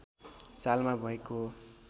सालमा भएको हो